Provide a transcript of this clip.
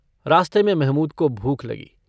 रास्ते में महमूद को भूख लगी।